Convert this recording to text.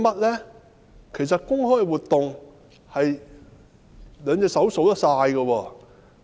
他們的公開活動，兩隻手可以數完。